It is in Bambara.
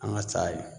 An ka sa ye